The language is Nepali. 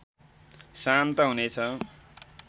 शान्त हुनेछ